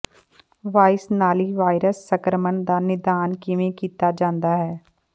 vice ਨਾਲੀ virus ਸੰਕਰਮਣ ਦਾ ਨਿਦਾਨ ਕਿਵੇਂ ਕੀਤਾ ਜਾਂਦਾ ਹੈ